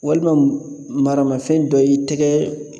Walima maramafɛn dɔ y'i tɛgɛ